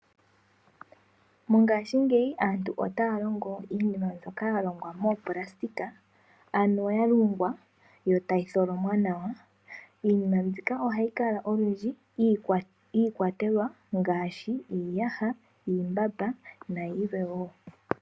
Mongaashingeyi aantu otaya longo iinima mbyoka ya longwa moopulasitika ano ya longwa yo tayi tholomwa nawa. Iinima mbika ohayi kala olundji iikwatelwa ngaashi iiyaha, iimbamba nayilwe woo.